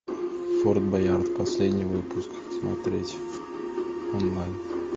форт боярд последний выпуск смотреть онлайн